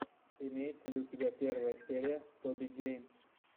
имеется ли у тебя первая серия тоби геймс